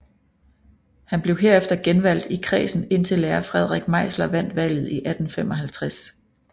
Han blev herefter genvalgt i kredsen indtil lærer Frederik Meisler vandt valget i 1855